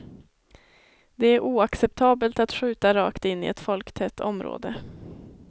Det är oacceptabelt att skjuta rakt in i ett folktätt område.